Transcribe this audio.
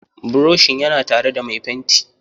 Buroshin yana tare da mai fenti.